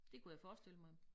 Det kunne jeg forestille mig